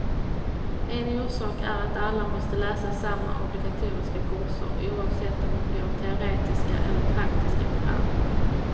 En orsak är att alla måste läsa samma obligatoriska kurser, oavsett om de går teoretiska eller praktiska program.